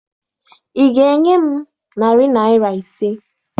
Ị ga-enye m narị naịra ise?